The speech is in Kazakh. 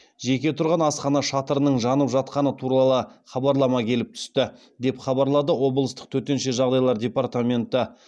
жеке тұрған асхана шатырының жанып жатқаны туралы хабарлама келіп түсті деп хабарлады облыстық төтенше жағдайлар департаменті